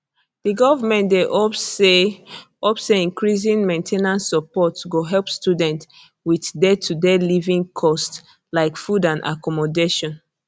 the government dey hope say hope say increasing main ten ance support go help students wit daytoday living costs like food and accommodation